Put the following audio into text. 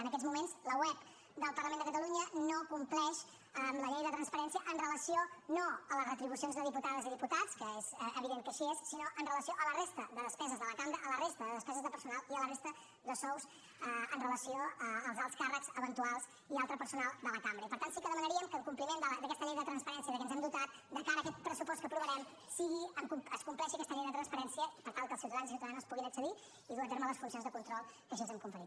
en aquests moments la web del parlament de catalunya no compleix amb la llei de transparència amb relació no a les retribucions de diputades i diputats que és evident que així és sinó amb relació a la resta de despeses de la cambra a la resta de despeses de personal i a la resta de sous amb relació als alts càrrecs eventuals i altre personal de la cambra i per tant sí que demanaríem que en compliment d’aquesta llei de transparència de què ens hem dotat de cara a aquest pressupost que aprovarem es compleixi aquesta llei de transparència per tal que els ciutadans i ciutadanes hi puguin accedir i dur a terme les funcions de control que així els hem conferit